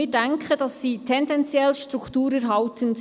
Wir denken, diese seien tendenziell strukturerhaltend.